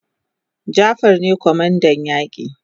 Jafar ne kwamandan yaki